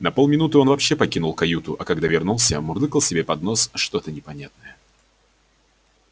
на полминуты он вообще покинул каюту а когда вернулся мурлыкал себе под нос что-то непонятное